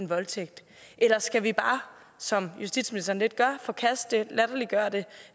voldtægt eller skal vi bare som justitsministeren lidt gør forkaste det latterliggøre det